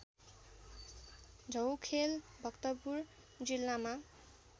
झौखेल भक्तपुर जिल्लामा